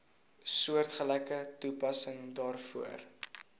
soortgelyke toepassing daarvoor